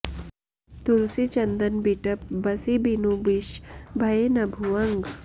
तुलसी चंदन बिटप बसि बिनु बिष भए न भुअंग